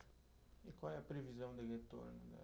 E qual é a previsão de retorno da?